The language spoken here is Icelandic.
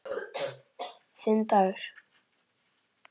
Þinn Dagur.